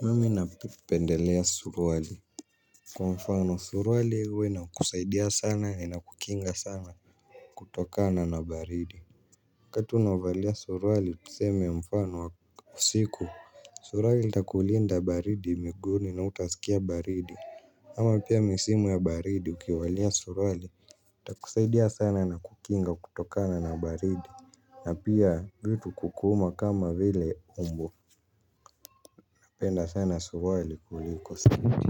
Mimi na pendelea surwali. Kwa mfano surwali huwa inakusaidia sana ina kukinga sana. Kutokana na baridi wakati unavalia surwali tuseme mfano wa siku surwali takulinda baridi miguuni na utasikia baridi. Ama pia misimu ya baridi ukivalia surwali takusaidia sana na kukinga kutokana na baridi. Na pia vitu kukuuma kama vile tumbo. Napenda sana surwali kuliko sketi